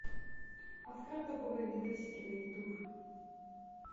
открой топовые видосики на ютуб